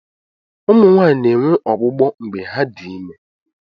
Ụmụ Nwaanyị na-enwe ọgbụgbọ mgbe ha dị ime.